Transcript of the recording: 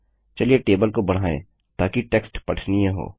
चलिए टेबल को बढ़ायें ताकि टेक्स्ट पठनीय हो